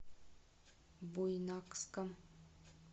буйнакском